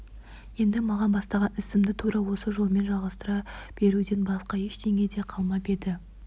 енді маған бастаған ісімді тура осы жолмен жалғастыра беруден басқа ештеңе де қалмап еді